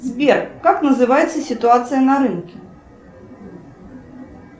сбер как называется ситуация на рынке